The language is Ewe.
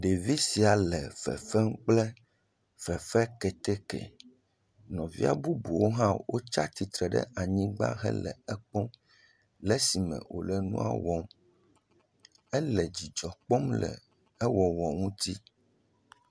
Ɖevi sia le fefem kple fefe keteke, nɔvia bubuwo hã wotsi atsitre ɖe anyigba le ekpɔm le esime wòle enua wɔm, ele dzidzɔ kpɔm le ewɔwɔ ŋuti.